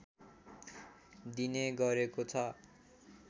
दिने गरेको छ